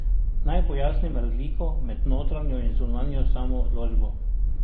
Naj pojasnim razliko med notranjo in zunanjo samoodločbo.